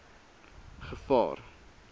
gevaar